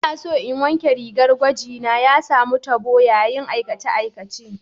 Ina so in wanke rigar gwaji na, ya samu tabo yayin aikace-aikacen.